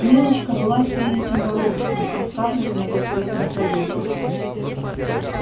милочка была сереньким воробышком а скарлетт многоцветной колибри